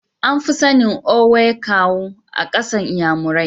An fi sanin "Owe Kawu" a kasan nnyamurai.